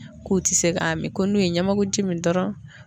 K'u ti se ka min ko n'u ye ɲɛmɛkuji min dɔrɔn